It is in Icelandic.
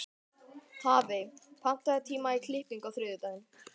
Hafey, pantaðu tíma í klippingu á þriðjudaginn.